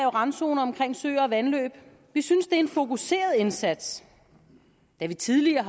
randzoner omkring søer og vandløb vi synes det er en fokuseret indsats da vi tidligere